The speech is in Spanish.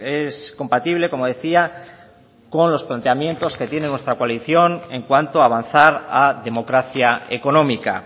es compatible como decía con los planteamientos que tiene nuestra coalición en cuanto avanzar a democracia económica